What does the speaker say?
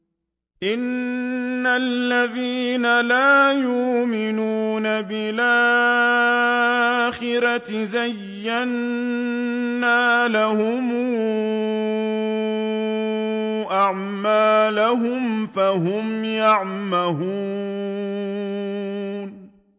إِنَّ الَّذِينَ لَا يُؤْمِنُونَ بِالْآخِرَةِ زَيَّنَّا لَهُمْ أَعْمَالَهُمْ فَهُمْ يَعْمَهُونَ